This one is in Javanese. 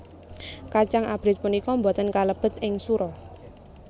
Kacang abrit punika boten kalebet ing sura